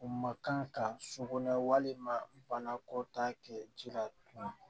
U ma kan ka sogo na walima banako ta kɛ ji la